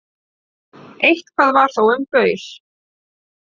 Eitthvað var þó um baul